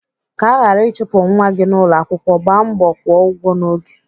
Ka aghara ịchụpụ nwa gị n'ụlọakwụkwọ, gbaa mbọ kwụọ ụgwọ n'oge.